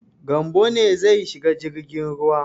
Gambo ne zai shiga jirgin ruwa.